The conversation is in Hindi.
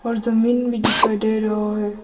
और जमीन भी दिखाई दे रहा है।